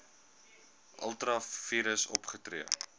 ultra vires opgetree